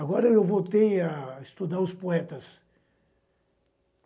Agora eu voltei a estudar os poetas.